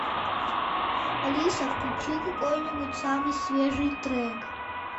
алиса включи какой нибудь самый свежий трек